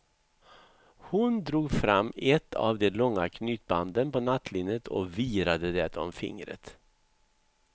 Hon drog fram ett av de långa knytbanden på nattlinnet och virade det om fingret.